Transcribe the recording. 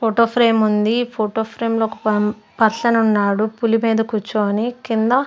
Photo ఫ్రేముంది photo ఫ్రేమ్లో ఒక పం పర్సన్ ఉన్నాడు పులి మీద కూర్చొని కింద.